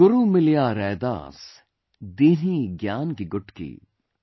Guru Miliya Raidas, Dinhi Gyan ki Gutki